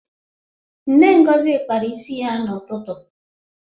Nne Ngozi kpara ya isi n'ụtụtụ.